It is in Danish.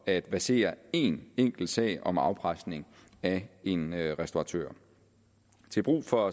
at versere én enkelt sag om afpresning af en restauratør og til brug for